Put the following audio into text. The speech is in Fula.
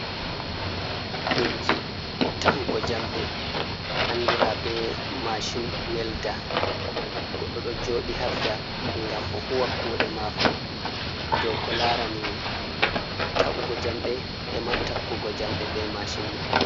Inji ta’ugo jamde andira be mashin welda, goɗɗo ɗo joɗi habda gam o huwa kuɗe mako dou ko larani ta’ugo jamɗe e ma takkugo jamɗe be mashin man.